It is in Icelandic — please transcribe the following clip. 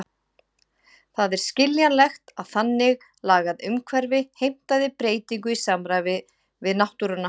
Það er skiljanlegt, að þannig lagað umhverfi heimtaði breytingu í samræmi við náttúruna.